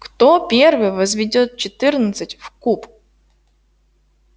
кто первый возведёт четырнадцать в куб